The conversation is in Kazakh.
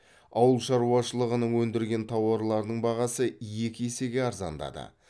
ауыл шаруашылығының өндірген тауарларының бағасы екі есеге арзандады